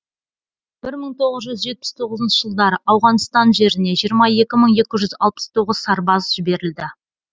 бір мың тоғыз жүз жетпіс тоғызыншщы жылдары ауғанстан жеріне жиырма екі мың екі жүз алпыс тоғызыншы сарбаз жіберілді